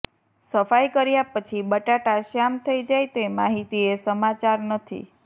સફાઈ કર્યા પછી બટાટા શ્યામ થઈ જાય તે માહિતી એ સમાચાર નથી